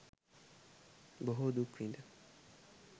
බොහෝ දුක් විඳ